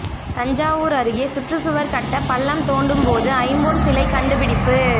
தஞ்சாவூர் அருகே சுற்றுச்சுவர் கட்ட பள்ளம் தோண்டும் போது ஐம்பொன் சிலை கண்டுபிடிப்பு